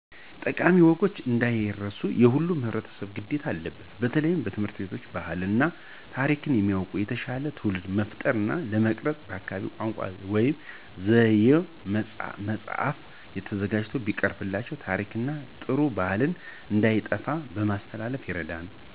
ጠቃሚ ወጎች እንዳይረሱ የሁሉም ህብረተሰብ ግዴታ አለበት በተለየ ትምህርት ቤቶች ባህሉን እና ታሪኩን የሚያዉቅ የተሻለ ትዉልድን ለመፍጠር እና ለመቅረፅ በአካባቢው ቋንቋ (ዘዬ) በመፃህፍ ተዘጋጅተው ቢቀርቡላቸው ታሪክን እና ጥሩ ባህልን እንዳይጠፉ ለማስተላለፍ ይረዳል።